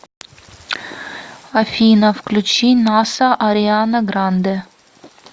афина включи наса ариана гранде